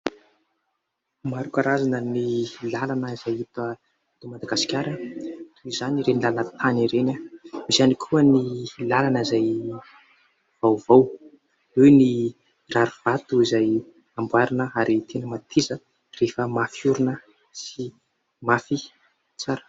Maro karazana ny lalana izay hita eto Madagasikara. Toy izany ireny lalan-tany ireny. Misy ihany koa ny lalana izay vaovao. Eo ny rarivato izay amboarina ary tena mateza rehefa mafy orina sy mafy tsara.